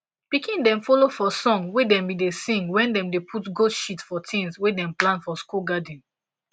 pikin dem follow for song wey dem been da sing wen dem da put goat shit for tins wey dem plant for school garden